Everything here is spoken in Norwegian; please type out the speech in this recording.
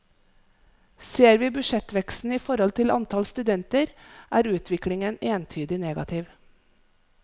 Ser vi budsjettveksten i forhold til antall studenter, er utviklingen entydig negativ.